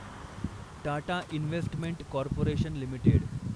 Tata investment corporation limited